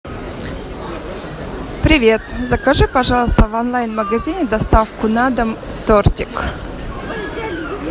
привет закажи пожалуйста в онлайн магазине доставку на дом тортик